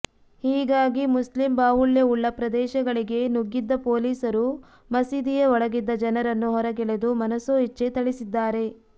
ಹೀಗಾಗಿ ಮುಸ್ಲಿಂ ಬಾಹುಳ್ಯವುಳ್ಳ ಪ್ರದೇಶಗಳಿಗೆ ನುಗ್ಗಿದ್ದ ಪೊಲೀಸರು ಮಸೀದಿಯ ಒಳಗಿದ್ದ ಜನರನ್ನು ಹೊರಗೆಳೆದು ಮನಸೋ ಇಚ್ಛೆ ಥಳಿಸಿದ್ದಾರೆ